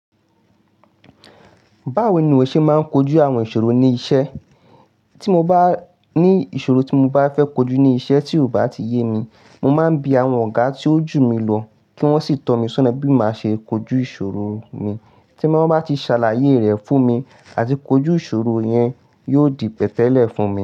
Báwo ni ìwo ṣe máa ń kojú àwọn ìṣòro ní iṣẹ́? Tí mo bá ní ìṣòro tí mo bá fẹ́ kojú ní iṣẹ́ tí ò bá ti yé mi, mo máa ń bi àwọn ọ̀gá tí ó jù mi lọ kí wọ́n sì tọ́ mi sọ́nà bí màá ṣe kojú ìṣòro mi. Tí wọ́n bá ti ṣàlàyé rẹ̀ fún mi àti kojú ìṣòro yẹn, yóò di pẹ̀tẹ́lẹ̀ fún mi.